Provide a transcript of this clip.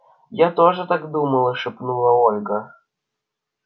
я тоже так думала шепнула ольга